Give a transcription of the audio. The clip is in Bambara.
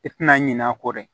I tina ɲin'a kɔ dɛ